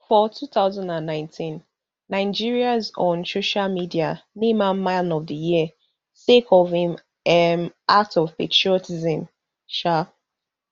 for two thousand and nineteen nigerians on social media name am man of di year sake of im um act of patriotism um